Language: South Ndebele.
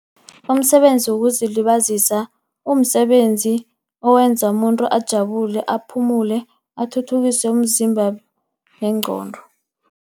Umsebenzi wokuzilibazisa, kumsebenzi owenza umuntu ajabule, aphumule, athuthukise umzimba nengqondo.